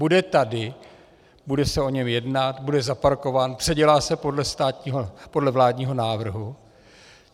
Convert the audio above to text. Bude tady, bude se o něm jednat, bude zaparkován, předělá se podle vládního návrhu.